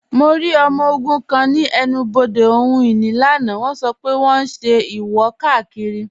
Mọ̀ rí ọmọ ogun̄ kan ni ènù-bodè ohun-inì lánà, wọ̣n sọ́ pẹ̀ wọ̣n n ṣẹ̀ ìwò-kákírí.